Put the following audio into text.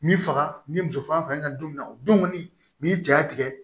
N'i faga ni muso faga fa n'i ka don min na o don kɔni ni cɛya tigɛ